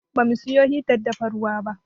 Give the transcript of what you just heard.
Ba mu siyo hitar dafa ruwa ba.